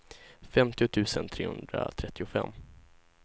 femtio tusen trehundratrettiofem